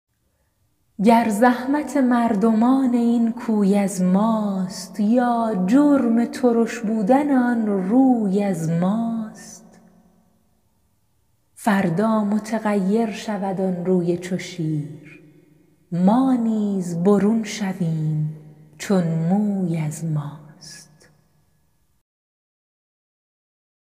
گر زحمت مردمان این کوی از ماست یا جرم ترش بودن آن روی از ماست فردا متغیر شود آن روی چو شیر ما نیز برون شویم چون موی از ماست